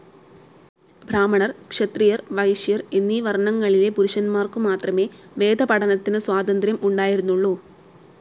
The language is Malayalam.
ബ്രാഹ്മണർ, ക്ഷത്രിയർ, വൈശ്യർ എന്നീ വർണ്ണങ്ങളിലെ പുരുഷന്മാരുക്കു മാത്രമേ വേദപഠനത്തിനുള്ള സ്വാതന്ത്ര്യം ഉണ്ടായിരുന്നുള്ളു.